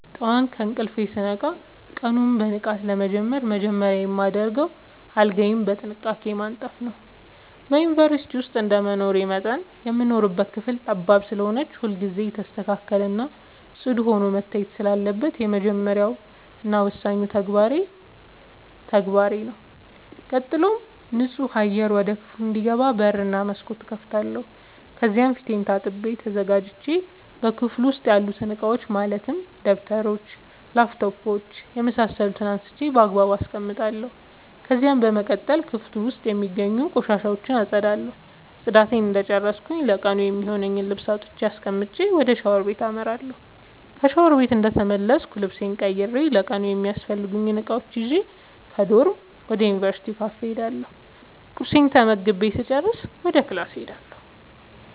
ጠዋት ከእንቅልፌ ስነቃ ቀኑን በንቃት ለመጀመር መጀመሪያ የማደርገው አልጋዬን በጥንቃቄ ማንጠፍ ነዉ። በዩንቨርስቲ ዉስጥ እንደመኖሬ መጠን የምንኖርባት ክፍል ጠባብ ስለሆነች ሁልጊዜ የተስተካከለ እና ፅዱ ሆና መታየት ስላለባት የመጀመሪያ እና ወሳኙ ተግባሬ ተግባሬ ነዉ። ቀጥሎም ንፁህ አየር ወደ ክፍሉ እንዲገባ በር እና መስኮት እከፍታለሁ ከዚያም ፊቴን ታጥቤ ተዘጋጅቼ በክፍሉ ዉስጥ ያሉትን እቃዎች ማለትም ደብተሮች: ላፕቶፕ የምሳሰሉትን አንስቼ ባግባቡ አስቀምጣለሁ። ከዚያም በመቀጠል ክፍሉ ዉስጥ የሚገኙትን ቆሻሻ አፀዳለሁ ፅዳቴን እንደጨረስኩ ለቀኑ የሚሆነኝን ልብስ አውጥቼ አስቀምጬ ወደ ሻወር ቤት አመራለሁ። ከሻወር ቤት እንደተመለስኩ ልብሴን ቀይሬ ለቀኑ የሚያስፈልጉኝን እቃዎች ይዤ ከዶርም ወደ ዩንቨርስቲው ካፌ እሄዳለሁ ቁርሴን ተመግቤ ስጨርስ ወደ ክላስ እሄዳለሁ።